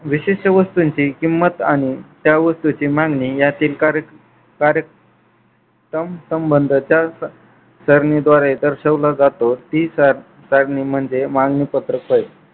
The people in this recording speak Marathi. विशिष्ट वस्तूंची किंमत आणि त्या वस्तूंची मागणी यातील कारक कारक संबंध त्या सरणीद्वारे दर्शवला जातो ती सरणी म्हणजे मागणी पत्र सरणी